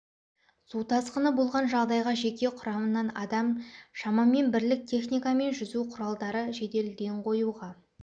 су тасқыны болған жағдайға жеке құрамынан адам шамамен бірлік техника мен жүзу құралдары жедел ден қоюға